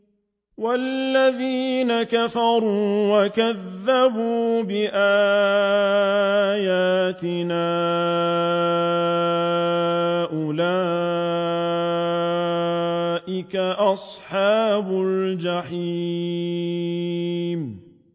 وَالَّذِينَ كَفَرُوا وَكَذَّبُوا بِآيَاتِنَا أُولَٰئِكَ أَصْحَابُ الْجَحِيمِ